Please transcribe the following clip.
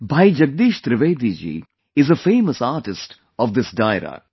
Bhai Jagdish Trivedi ji is a famous artist of this Dairo